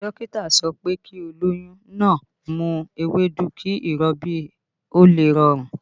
Dókítà sọ pé kí olóyún náà ń mu ewédú kí ìrọbí ó lè rọrùn